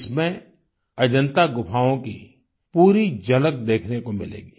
इसमें अजन्ता गुफाओं की पूरी झलक देखने को मिलेगी